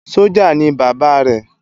Sójá ni Baba rè